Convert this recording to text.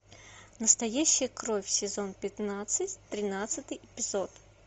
настоящая кровь сезон пятнадцать тринадцатый эпизод